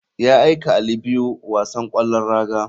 Ya aika ali biyu wasan kwallon raga.